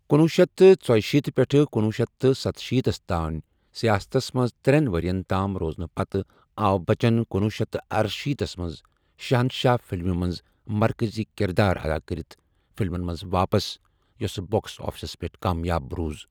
کنُۄہُ شیتھ تہٕ ژُشیٖتھ پٮ۪ٹھ کنُۄہُ شیتھ تہٕ ستشیٖتھ تھس تام سِیاستَس منٛز ترٛین ؤرین تام روزنہٕ پتہٕ، آو بَچن کنُۄہُ شیتھ تہٕ ارشیٖتھ تھس منٛز شَہنشاہ فِلمہِ منٛز مركزی کِردار ادا كرِتھ فِلمن منٛز واپس، ، یۄسہٕ بۄ٘کس آفِسس پیٹھ کامیاب روٗز۔